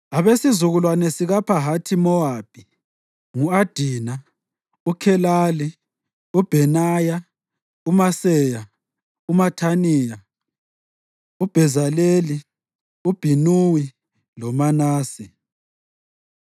Abesizukulwane sikaPhahathi-Mowabi: ngu-Adina, uKhelali, uBhenaya, uMaseya, uMathaniya, uBhezaleli, uBhinuwi loManase.